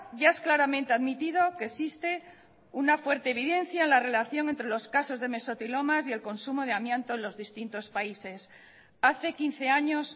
ya es claramente admitido que existe una fuerte evidencia en la relación entre los casos de mesotilomas y el consumo de amianto en los distintos países hace quince años